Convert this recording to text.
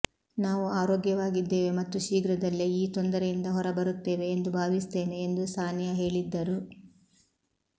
ನಾವು ಆರೋಗ್ಯವಾಗಿದ್ದೇವೆ ಮತ್ತು ಶೀಘ್ರದಲ್ಲೇ ಈ ತೊಂದರೆಯಿಂದ ಹೊರಬರುತ್ತೇವೆ ಎಂದು ಭಾವಿಸುತ್ತೇನೆ ಎಂದು ಸಾನಿಯಾ ಹೇಳಿದ್ದರು